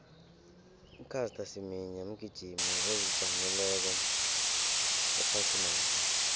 ucaster semenya mgijimi ozijameleko ephasinapha